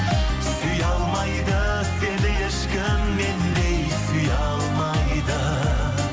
сүйе алмайды сені ешкім мендей сүйе алмайды